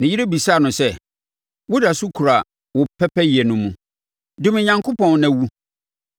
Ne yere bisaa no sɛ, “Woda so kura wo pɛpɛyɛ no mu ara? Dome Onyankopɔn, na wu!”